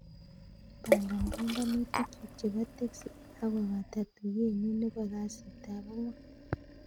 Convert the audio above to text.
Pangan panganutikyuk chepo teksi ye kagopata tuyet nyun nepo kasitap angwan